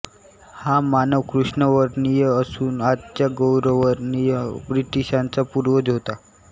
हा मानव कृष्णवर्णीय असून आजच्या गौरवर्णीय ब्रिटिशांचा पूर्वज होता